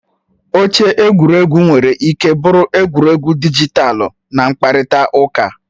Oche egwu nwere ike bụrụ egwuregwu dijitalụ na mkparịta ụka.